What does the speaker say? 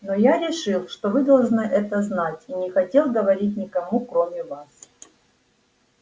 но я решил что вы должны это знать и не хотел говорить никому кроме вас